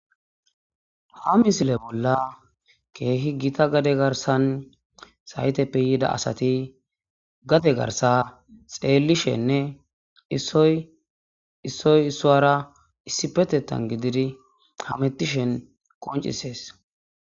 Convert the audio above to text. ha misile bolla keehi gita gade garsan sayteppe yiida asati gate garsa xeelishenne issoy issuwara issi petettan gididi hamettishen qoncisees